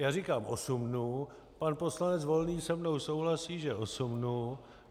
Já říkám osm dnů, pan poslanec Volný se mnou souhlasí že osm dnů.